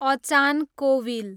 अचान कोविल